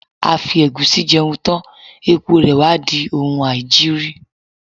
A fi ẹ̀gúsí jẹun tán, èpo rè wá di oun aìjiri.